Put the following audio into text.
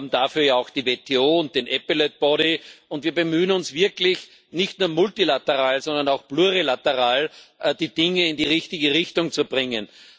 Wir haben dafür ja auch die WTO und den und wir bemühen uns wirklich, nicht nur multilateral, sondern auch plurilateral die Dinge in die richtige Richtung zu bringen.